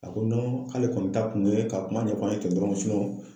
A ko k'ale kɔni ta kun ye ka kuma ɲɛfɔ an ye ten dɔrɔn